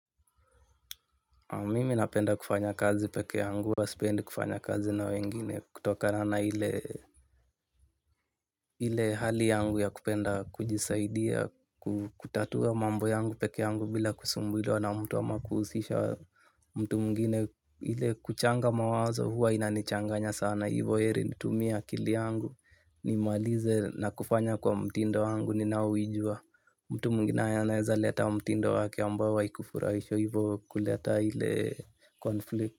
Mimi napenda kufanya kazi peke yangu huwa sipendi kufanya kazi na wengine kutokana na ile hali yangu ya kupenda kujisaidia kutatua mambo yangu peke yangu bila kusumbuliwa na mtu ama kuhusisha mtu mwingine. Ile kuchanga mawazo huwa inanichanganya sana. Na hivyo heri nitumie akili yangu nimalize na kufanya kwa mtindo wangu ninaouijua. Mtu mwingine anaezaleta mtindo wake ambao haikufurahishi hivyo kuleta ile conflict.